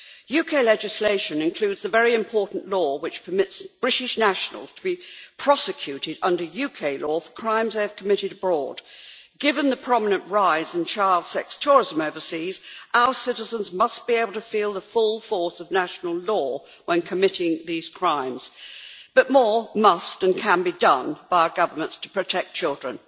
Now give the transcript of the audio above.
UK legislation includes a very important law which permits British nationals to be prosecuted under UK law for crimes they have committed abroad. Given the prominent rise in child sex tourism overseas, our citizens must be able to feel the full force of national law when committing these crimes, but more must and can be done by our governments to protect children.